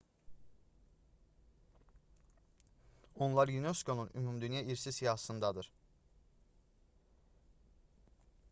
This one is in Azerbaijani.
onlar unesco-nun ümumdünya i̇rsi siyahısındadır